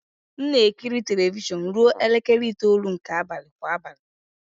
M na-ekiri telivishọn ruo elekere itoolu nke abalị kwa abalị.